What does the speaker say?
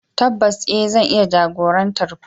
Tabbas e, zan iya jagorantar ku.